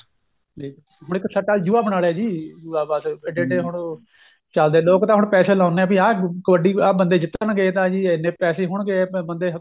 ਲੈ ਹੁਣ ਇੱਕ ਸੱਟਾ ਜੁਆ ਬਣਾ ਲਿਆ ਜੀ ਜੁਆ ਬੱਸ ਹੁਣ ਉਹ ਚੱਲਦੇ ਲੋਕ ਤਾਂ ਹੁਣ ਪੈਸੇ ਲਾਉਣੇ ਏ ਕੀ ਆਹ ਕਬੱਡੀ ਆ ਬੰਦੇ ਜਿੱਤਣਗੇ ਤਾਂ ਜੀ ਇੰਨੇ ਪੈਸੇ ਹੋਣਗੇ ਬੰਦੇ